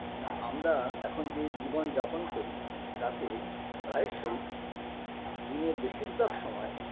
না আমরা এখন যে জীবনযাপন করি তাতে প্রায়শই দিনের বেশিরভাগ সময়